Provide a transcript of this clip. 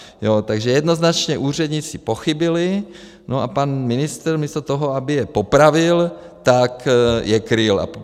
Takže jednoznačně úředníci pochybili a pan ministr místo toho, aby je popravil, tak je kryl.